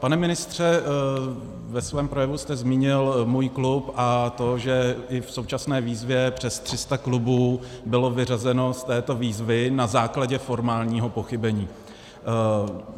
Pane ministře, ve svém projevu jste zmínil Můj klub a to, že i v současné výzvě přes 300 klubů bylo vyřazeno z této výzvy na základě formálního pochybení.